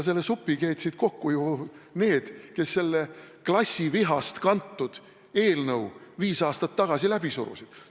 Selle supi keetsid kokku need, kes selle klassivihast kantud eelnõu viis aastat tagasi läbi surusid.